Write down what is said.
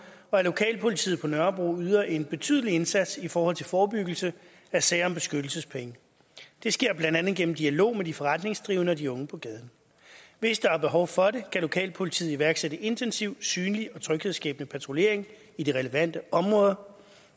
og at lokalpolitiet på nørrebro yder en betydelig indsats i forhold til forebyggelse af sager om beskyttelsespenge det sker blandt andet gennem dialog med de forretningsdrivende og de unge på gaden hvis der er behov for det kan lokalpolitiet iværksætte intensiv synlig og tryghedsskabende patruljering i de relevante områder